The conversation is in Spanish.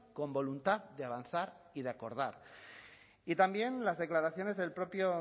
con voluntad de avanzar y de acordar y también las declaraciones del propio